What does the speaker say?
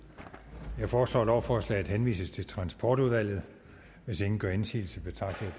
jeg foreslår at lovforslaget henvises til transportudvalget hvis ingen gør indsigelse betragter